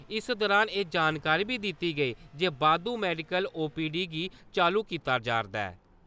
इस दौरान एह् जानकारी बी दित्ती गेई जे बाद्दू मैडिकल ओ.पी.डी गी चालु कीता जा'रदा ऐ।